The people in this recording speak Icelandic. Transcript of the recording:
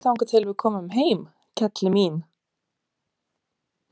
Bíddu þangað til við komum heim, kelli mín.